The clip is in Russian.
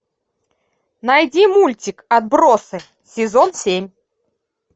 найди мультик отбросы сезон семь